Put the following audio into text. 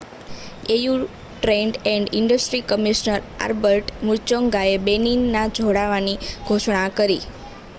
au trade and industry commissioner Albert મુચૉંગાએ બેનિનના જોડાવાની ઘોષણા કરી